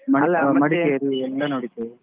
Madikeri ಎಲ್ಲ ನೋಡಿದ್ದು.